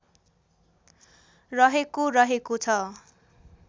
रहेको रहेको छ